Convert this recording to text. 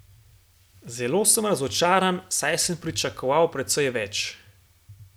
Zelo sem razočaran, saj sem pričakoval precej več.